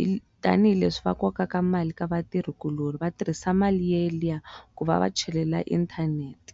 i tanihileswi va kokaka mali ka vatirhi kuloni vatirhisa mali ya liya ku va va chelela inthanete.